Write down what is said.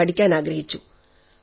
യ്ക്കു പഠിക്കാനാഗ്രഹിച്ചു